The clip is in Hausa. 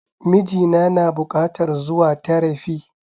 Miji na na bukatar zuwa terafi